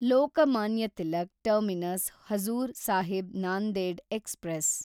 Lokmanya Tilak terminus Hazur Sahib Nanded express